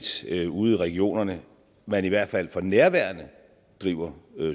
set ude i regionerne man i hvert fald for nærværende driver